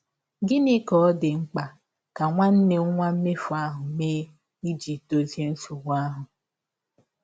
Gịnị ka ọ dị mkpa ka nwanne nwa mmefụ ahụ mee ịjị dọzie nsọgbụ ahụ?